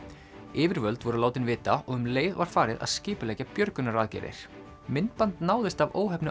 yfirvöld voru látin vita og um leið var farið að skipuleggja björgunaraðgerðir myndband náðist af óheppnu